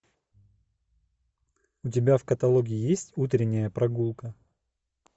у тебя в каталоге есть утренняя прогулка